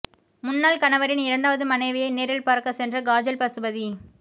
முன்னாள் கணவரின் இரண்டாவது மனைவியை நேரில் பார்க்க சென்ற காஜல் பசுபதி